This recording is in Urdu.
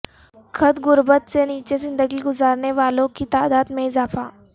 خط غربت سے نیچے زندگی گزارنے والوں کی تعداد میں اضافہ